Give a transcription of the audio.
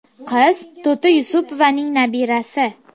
Qiz To‘ti Yusupovaning nabirasi.